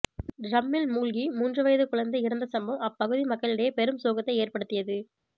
டிரம்மில் மூழ்கி மூன்று வயது குழந்தை இறந்த சம்பவம் அப்பகுதி மக்களிடையே பெரும் சோகத்தை ஏற்படுத்தியது